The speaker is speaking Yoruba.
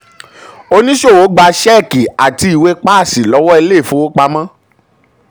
oníṣòwò gba ṣẹ́ẹ̀kì àti ìwé páàsì lọ́wọ́ ilé ìfowopamọ́.